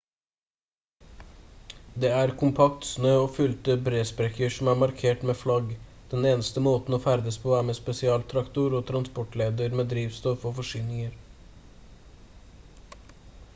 det er kompakt snø og fylte bresprekker som er markert med flagg den eneste måten å ferdes på er med spesialtraktor og transportsleder med drivstoff og forsyninger